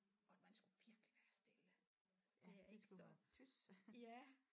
Og man skulle virkelig være stille altså det er ikke så ja